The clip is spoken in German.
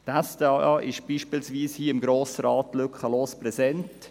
Die SDA ist beispielswiese hier im Grossen Rat lückenlos präsent.